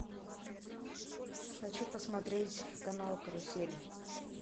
хочу посмотреть канал карусель